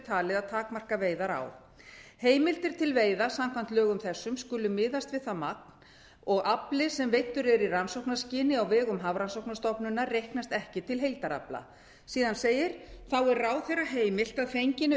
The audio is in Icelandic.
talið að takmarka veiðar á heimildir til veiða samkvæmt lögum þessum skulu miðast við það magn og að afli sem veiddur er í rannsóknarskyni á vegum hafrannsóknastofnunar reiknast ekki til heildarafla síðan segir þá er ráðherra heimilt að fenginni